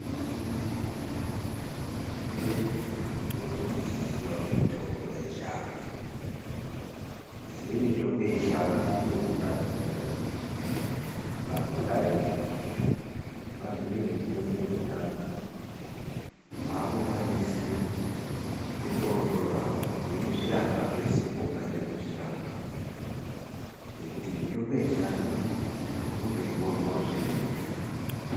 Tinoda kuti tipotewo techiziyawo mitombo yechiantu. Kuziya mitombo yechiantu kunotibatsira pakudai, waziye mitombo yechiantu wakukwanisa kundotorawo weizvirapa pese paungade kuzvirapa ngekuti mitombo yechiantu unondoiwonawo zviri nyore.